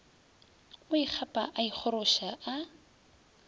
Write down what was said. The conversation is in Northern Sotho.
o ikgapa a ikgoroša a